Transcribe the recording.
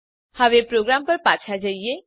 હવે પ્રોગ્રામ પર પાછા જઈએ